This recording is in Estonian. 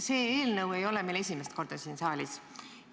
See eelnõu ei ole meil esimest korda siin saalis.